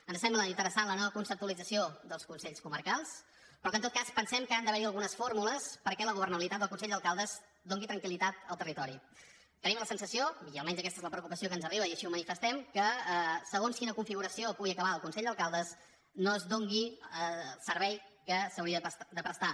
ens sembla interessant la nova conceptualització dels consells comarcals però en tot cas pensem que han d’haver hi algunes fórmules perquè la governabilitat del consell d’alcaldes doni tranquiltenim la sensació i almenys aquesta és la preocupació que ens arriba i així ho manifestem que segons amb quina configuració pugui acabar el consell d’alcaldes no es doni el servei que s’hauria de prestar